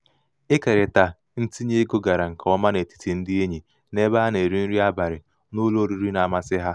ikerita ntinyeego gara nke ọma n'etiti ndị enyi n'ebe a na-eri nri abalị n'ụlọ oriri na-amasị ha.